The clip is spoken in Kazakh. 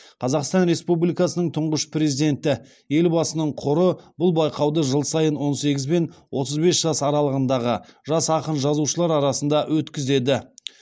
қазақстан республикасының тұңғыш президенті елбасының қоры бұл байқауды жыл сайын он сегіз бен отыз бес жас аралығындағы жас ақын жазушылар арасында өткізеді